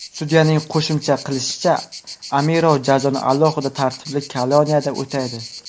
Sudyaning qo‘shimcha qilishicha, Amirov jazoni alohida tartibli koloniyada o‘taydi.